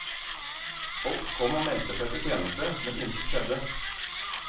Folk kom og meldte seg til tjeneste, men intet skjedde.